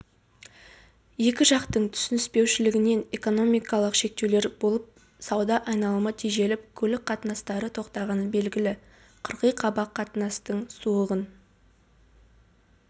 екі жақтың түсініспеушілігінен экономикалық шектеулер болып сауда айналымы тежеліп көлік қатынастары тоқтағаны белгілі қырғи-қабақ қатынастың суығын